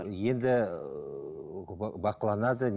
енді ііі бақыланады